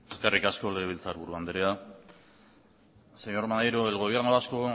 eskerrik asko legebiltzarburu andrea señor maneiro el gobierno vasco